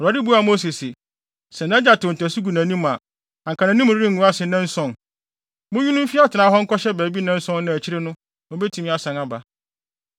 Awurade buaa Mose se, “Sɛ nʼagya tew ntasu guu nʼanim a, anka nʼanim rengu ase nnanson? Munyi no mfi atenae ha nkɔhyɛ baabi nnanson na akyiri no, obetumi asan aba.”